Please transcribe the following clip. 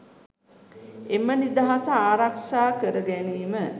එම නිදහස ආරක්ෂා කර ගැනීම